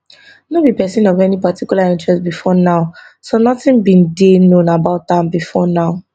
no be pesin of any particular interest bifor now so nothing much bin dey known about am bifor now